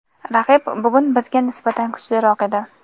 Raqib bugun bizga nisbatan kuchliroq edi.